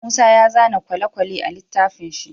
Musa ya zana kwale kwale a litafin shi